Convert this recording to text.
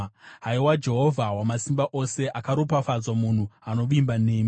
Haiwa Jehovha Wamasimba Ose, akaropafadzwa munhu anovimba nemi.